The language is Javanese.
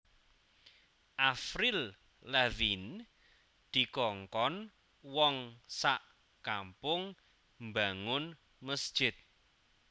Avril Lavigne dikongkon wong sak kampung mbangun mesjid